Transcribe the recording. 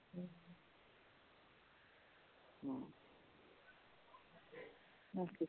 ਹੁਣ ਕੀ